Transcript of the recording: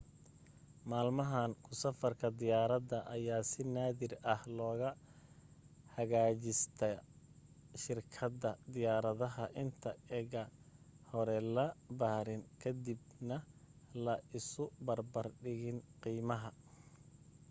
maalmahan ku safarka diyaaradda ayaa si naadir ah loga hagaajistaa shirkadda diyaaradda inta ega hore la baarin ka dib na la isu barbar dhigin qiimaha